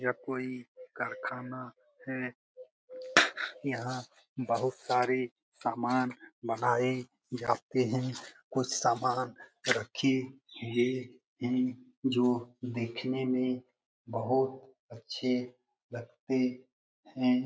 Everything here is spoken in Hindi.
यह कोई कारखाना है । यहाँ बहुत सारी सामान बनाई जाते हैं । कुछ सामान रखी हुई हैं जो देखने में बहुत अच्छे लगते हैं ।